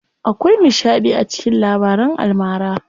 Akwai nishaɗi a cikin labaran almara.